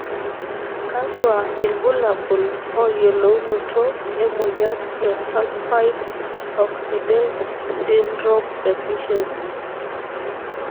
kakwa ilbulabul oyiolounoto emoyian e Sulfite oxidase sydrome deficiency?